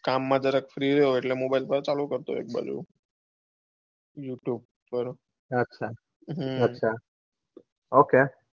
કામ માં જરાક free હોય એટલે mobile પડતો મુકો એક બાજુ અચ્છા હમ અચ્છા okay